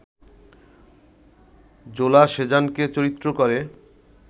জোলা সেজানকে চরিত্র করে